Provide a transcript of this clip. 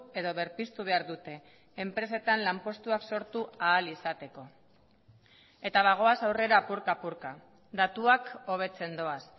edo berpiztu behar dute enpresetan lanpostuak sortu ahal izateko eta bagoaz aurrera apurka apurka datuak hobetzen doaz